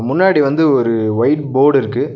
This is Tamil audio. முன்னாடி வந்து ஒரு வைட் போடு இருக்கு.